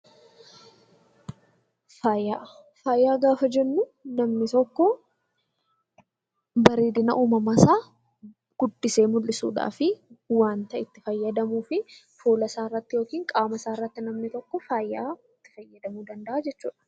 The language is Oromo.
Faayaa Faayaa gaafa jennuu namni tokko bareedina uumamaa isaa guddisee mul'isuu dhaafi waanta itti fayyadamuu fi fuula isaa irratti yookiin qaama isaa irratti namni tokko faayaa itti fayyadamuu danda'a jechuu dha.